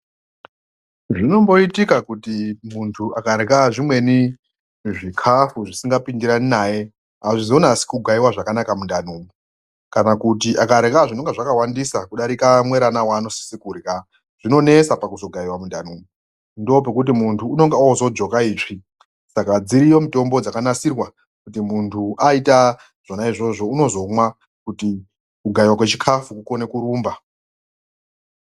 Zvinomboitika kuti mundu angarya zvimweni zvikhafu zvisingapindirani naye azvizonasi kugaiwa zvakanaka mundani umu kana kuti angarya zvinenge zvakawandisa kudarika muerana waanosisa kurya, zvinonesa pakugaiwa mundani umu, ndoopekuti muntu unenge ozojoka itsvi, saka dziriyo mitombo dzakanasirwa kuti muntu aita zvona izvozvo uzomwa kuita kuti kugaiwa kwechikhafu kukone kurumba.